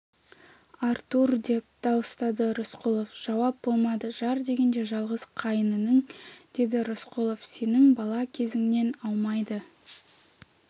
артур деп дауыстады рысқұлов жауап болмады жар дегенде жалғыз қайын інің деді рысқұлов сенің бала кезіңнен аумайды